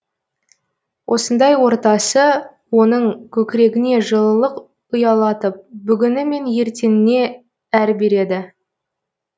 осындай ортасы оның көкірегіне жылылық ұялатып бүгіні мен ертеңіне әр береді